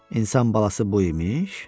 İnsan balası bu imiş?